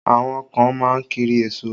Àwọn kan má ń kiri èso